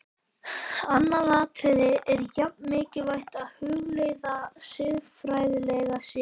Annað atriði er jafn mikilvægt að hugleiða, siðfræðilega séð.